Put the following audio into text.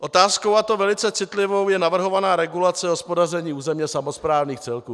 Otázkou, a to velice citlivou, je navrhovaná regulace hospodaření územně samosprávných celků.